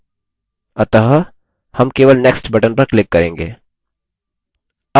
अतः हम केवल next button पर click करेंगे